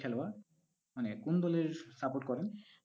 খেলোয়াড়? মানে কোন দলের support করেন?